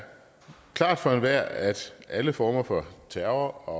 klart for enhver at alle former for terror og